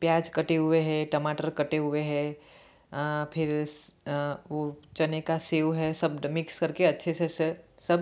प्याज कटे हुए हैं टमाटर कटे हुए है आ फिर आ वो चने का सेव है सब मिक्स करके अच्छे से सब --